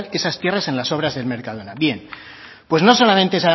esas tierras en las obras del mercadona bien pues no solamente